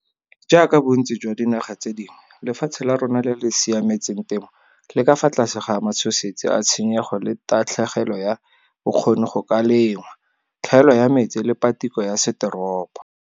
Jaaka bontsi jwa dinaga tse dingwe, lefatshe la rona le le siametseng temo le ka fa tlase ga matshosetsi a tshenyego le tatlhegelo ya bokgoni go ka lengwa, tlhaelo ya metsi le patiko ya setoropo.